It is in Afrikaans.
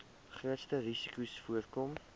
grootste risikos voorkom